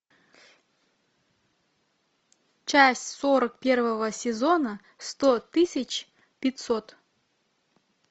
часть сорок первого сезона сто тысяч пятьсот